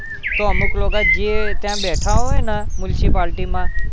તો અમુક લોકો જે ત્યાં બેઠા હોય ને municipality માં